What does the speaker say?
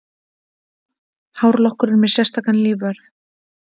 Hárlokkurinn með sérstakan lífvörð